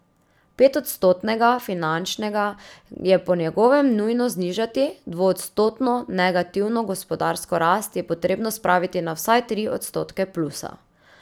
Petodstotnega finančnega je po njegovem nujno znižati, dvoodstotno negativno gospodarsko rast je potrebno spraviti na vsaj tri odstotke plusa.